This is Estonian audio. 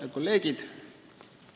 Head kolleegid!